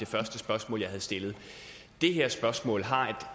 første spørgsmål jeg stillede det her spørgsmål har